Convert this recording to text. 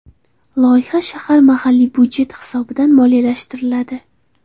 Loyiha shahar mahalliy byudjeti hisobidan moliyalashtiriladi.